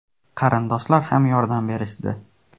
Qarindoshlar ham yordam berishdi.